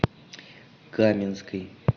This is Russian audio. каменской